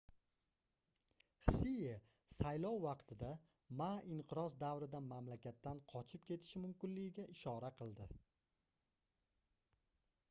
hsie saylov vaqtida ma inqiroz davrida mamlakatdan qochib ketishi mumkinligiga ishora qildi